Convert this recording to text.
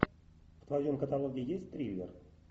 в твоем каталоге есть триллер